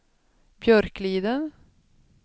Björkliden